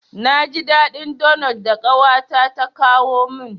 Na ji daɗin donot da ƙawata ta kawo min.